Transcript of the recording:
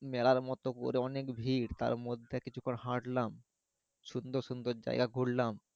মেলার মতো করে অনেক ভিড় তারমধ্যে কিছুক্ষন হাঁটলাম সুন্দর সুন্দর জাইগা ঘুরলাম